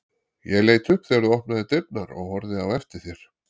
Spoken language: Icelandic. Ég leit upp þegar þú opnaðir dyrnar og horfði á eftir þér.